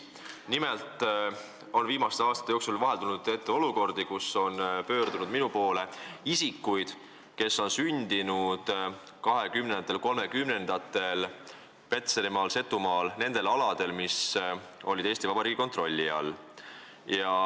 Nimelt on viimaste aastate jooksul vahel tulnud ette, et minu poole on pöördunud isikud, kes on sündinud 1920. ja 1930. aastatel Petserimaal, Setumaal, nendel aladel, mis olid siis Eesti Vabariigi kontrolli all.